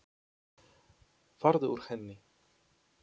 Farðu úr henni.